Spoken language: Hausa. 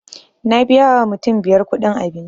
Na biya wa mutum biyar kuɗin abinci